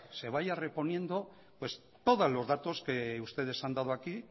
se vaya reponiendo pues todos los datos que ustedes han dado aquí